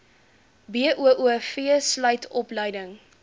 boov sluit opleiding